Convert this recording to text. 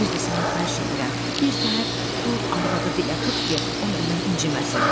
Bir də sənə xahiş edirəm, birtəhər dul arvadı dilə tut ki, o məndən inciməsin.